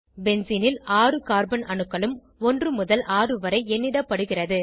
பென்சீனில் ஆறு கார்பன் அணுக்களும் 1 முதல் 6 வரை எண்ணிடப்படுகிறது